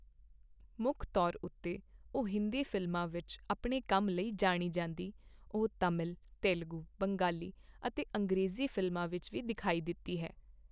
ਮੁੱਖ ਤੌਰ ਉੱਤੇ ਉਹ ਹਿੰਦੀ ਫ਼ਿਲਮਾਂ ਵਿੱਚ ਆਪਣੇ ਕੰਮ ਲਈ ਜਾਣੀ ਜਾਂਦੀ, ਉਹ ਤਮਿਲ, ਤੇਲਗੂ, ਬੰਗਾਲੀ ਅਤੇ ਅੰਗਰੇਜ਼ੀ ਫ਼ਿਲਮਾਂ ਵਿੱਚ ਵੀ ਦਿਖਾਈ ਦਿੱਤੀ ਹੈ।